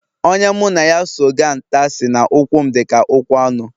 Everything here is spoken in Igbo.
Onye mụ na ya so ga nta, sị na ụkwụ m dịka ụkwụ anụ